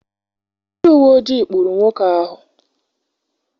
Ndị uwe ojii kpụụrụ nwoke ahụ.